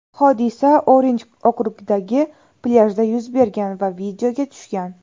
Hodisa Orinj okrugidagi plyajda yuz bergan va videoga tushgan.